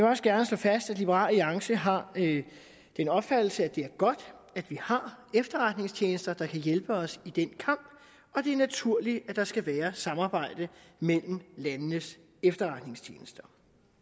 også gerne slå fast at liberal alliance har den opfattelse at det er godt at vi har efterretningstjenester der kan hjælpe os i den kamp og det er naturligt at der skal være samarbejde mellem landenes efterretningstjenester